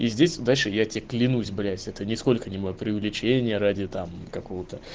и здесь удача я тебе клянусь блять это нисколько не моё приувеличение ради там какого-то